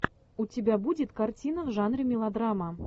у тебя будет картина в жанре мелодрама